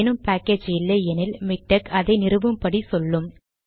ஏதேனும் பாக்கேஜ் இல்லை எனில் மிக்டெக் அதை நிறுவும் படி சொல்லும்